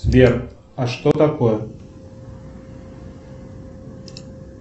сбер а что такое